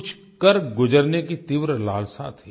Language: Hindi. कुछ कर गुज़रने की तीव्र लालसा थी